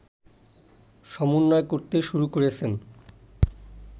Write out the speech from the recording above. সমন্বয় করতে শুরু করেছেন